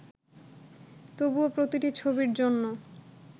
তবুও প্রতিটি ছবির জন্য